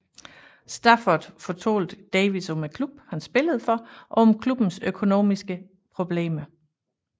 Stafford fortalte Davies om klubben han spillede for og om klubbens økonomiske problemer